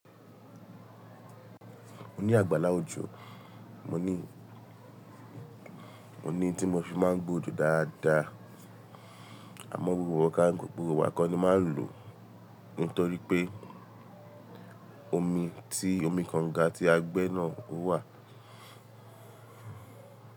Mo ní àgbàlá ojò, mo ní, mo ní tí mo fi máa ń gbe òjò dáadáa. Àmọ́ gbogbo ìgbà kọ́ ni máa ń lò nítorí pé omi tí omi kànga tí agbẹ́ náà ówà.